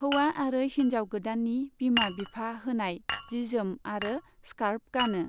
हौवा आरो हिन्जाव गोदाननि बिमा बिफा होनाय जिजोम आरो स्कार्फ गानो।